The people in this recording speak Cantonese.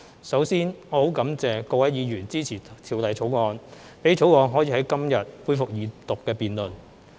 首先我很感謝各位議員支持《條例草案》，讓《條例草案》可以在今天恢復二讀辯論。